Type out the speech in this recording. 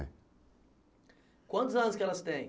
É. Quantos anos que elas têm?